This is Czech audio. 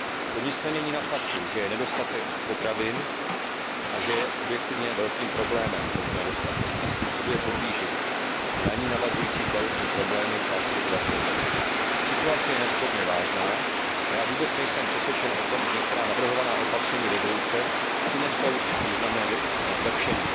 To nic nemění na faktu, že je nedostatek potravin a že tento nedostatek je objektivně velkým problémem a způsobuje podvýživu a na ni navazující zdravotní problémy části obyvatel země. Situace je nesporně vážná a já vůbec nejsem přesvědčen o tom, že některá navrhovaná opatření usnesení přinesou významné zlepšení.